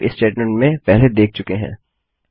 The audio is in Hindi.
हम यह इफ स्टेटमेंट में पहले देख चुके हैं